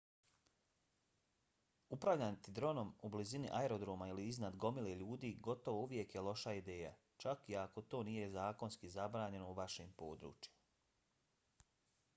upravljati dronom u blizini aerodroma ili iznad gomile ljudi gotovo uvijek je loša ideja čak i ako to nije zakonski zabranjeno u vašem području